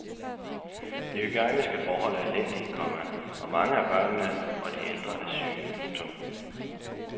De hygiejniske forhold er elendige, komma og mange af børnene og de ældre er syge. punktum